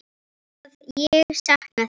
Að ég sakna þeirra.